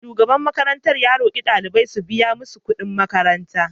Shugaban makarantar ya roki daliban su biya musu kudin makaranta.